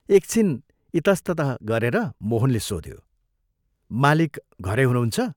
एकछिन इतस्ततः गरेर मोहनले सोध्यो, " मालिक घरै हुनुहुन्छ?